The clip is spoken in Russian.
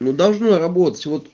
ну должно работать вот